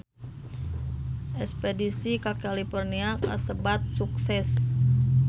Espedisi ka California kasebat sukses